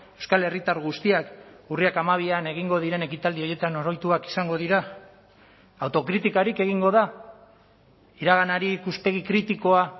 euskal herritar guztiak urriak hamabian egingo diren ekitaldi horietan oroituak izango dira autokritikarik egingo da iraganari ikuspegi kritikoa